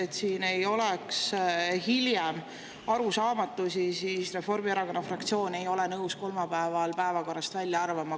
Et siin ei oleks hiljem arusaamatusi, siis Reformierakonna fraktsioon ei ole nõus kolmapäeva kolmandat punkti päevakorrast välja arvama.